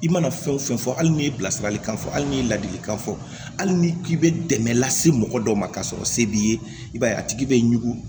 I mana fɛn o fɛn fɔ hali ni ye bilasiralikan fɔ hali n'i ye ladilikan fɔ hali ni k'i bɛ dɛmɛ lase mɔgɔ dɔ ma k'a sɔrɔ se b'i ye i b'a ye a tigi bɛ ɲugu